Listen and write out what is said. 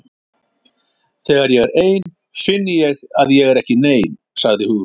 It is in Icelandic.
Þegar ég er ein finn ég að ég er ekki nein- sagði Hugrún.